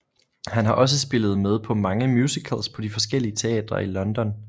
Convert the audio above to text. Han har også spillet med på mange musicals på de forskellige teatre i London